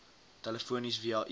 telefonies via e